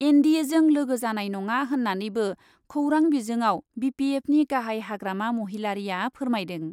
N D एजों लोगो जानाय नङा होन्नानैबो खौरां बिजोङाव बि पि एफनि गाहाइ हाग्रामा महिलारीआ फोरमायदों।